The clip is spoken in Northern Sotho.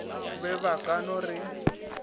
be ba ka no re